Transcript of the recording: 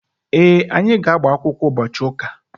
Ee, anyị ga-agbakwụkwọ ụbọchị ụka.